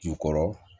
Jukɔrɔ